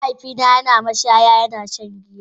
Mahaifina yana mashaya yana shan giya.